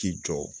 K'i jɔ